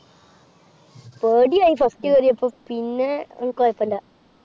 പേട്യായി first കേറിപ്പോ. പിന്നെ അഹ് കുയപ്പല്യാ.